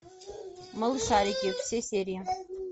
малышарики все серии